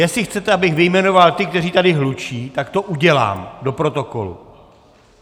Jestli chcete, abych vyjmenoval ty, kteří tady hlučí, tak to udělám - do protokolu.